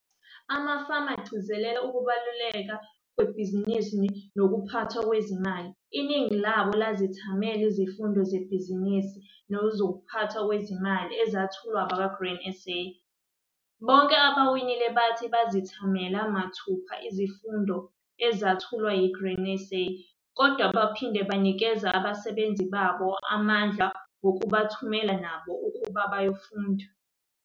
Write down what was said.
Amafama egcizelela ukubaluleka kwebhizinisi nokuphathwa kwezimali. Iningi labo lazethamela izifundo zebhizinisi nezokuphathwa kwezimali ezethulwa abakwaGrain SA. Bonke abawinile bathi bazethamela mathupha izifundo ezethulwa yiGrain SA kodwa baphinda banikeza abasebenzi babo amandla ngokubathumela nabo ukuba bayofunda.